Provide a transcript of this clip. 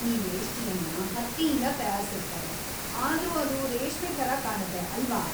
ಈ ವೇಷ್ಟಿಯನ್ನ ಹತ್ತಿಯಿಂದ ತಯಾರಿಸಿರ್ತಾರೆ, ಆದ್ರೂ ಅದು ರೇಷ್ಮೆ ಥರ ಕಾಣತ್ತೆ, ಅಲ್ವಾ?